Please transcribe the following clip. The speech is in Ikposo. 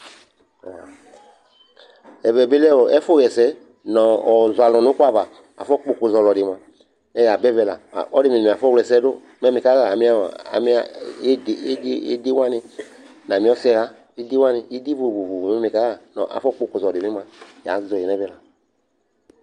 Ɛʋɛ ɓɩ lɛ ɛfʊ ƴɛsɛ, ŋʊ ɔzɔ alʊ ŋʊ ʊkʊ ava Afɔ ƙpɔ ʊƙʊ zɔ ɔlɔdɩ mʊa mɛ ƴa ɓa ɛʋɛ la Ɔlɔdɩ mɩŋɩ mɩafɔ wlɛsɛdʊ mɛ mikaya ami ɩdɩ sɛ wanɩ ɩdɩ vovo kʊ kpɔsɔdɩ ƴɛmua ya zɔyɩ nɛvɛ la